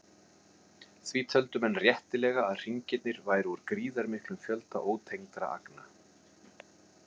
Því töldu menn réttilega að hringirnir væru úr gríðarmiklum fjölda ótengdra agna.